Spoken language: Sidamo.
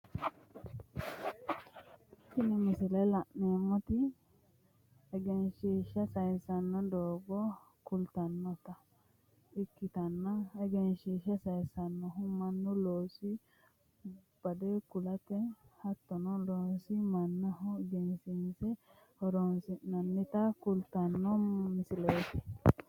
Tinni misile la'neemoti egenshiisha sayinsanni doogo kultanota ikitanna egenshiisha sayinsannihu Manu loososi bade kulate hattono loososi manaho egensiisate horoonsi'nannita kultano misileeti.